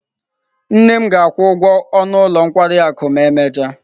Nne m ga-akwụ ụgwọ ọnụ ụlọ nkwari akụ ma emechaa.